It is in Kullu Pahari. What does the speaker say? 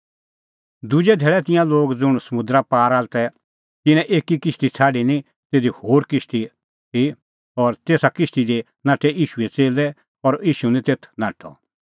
दुजै धैल़ै तिंयां लोग ज़ुंण समुंदरा पार तै तिन्नें एकी किश्ती छ़ाडी निं तिधी होर कोई किश्ती ती और तेसा किश्ती दी नाठै ईशूए च़ेल्लै और ईशू निं तेथ नाठअ